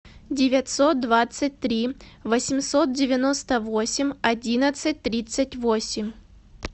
девятьсот двадцать три восемьсот девяносто восемь одиннадцать тридцать восемь